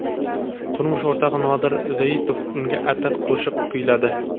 Turmush o‘rtog‘i Nodir Zoitov unga atab qo‘shiq kuyladi.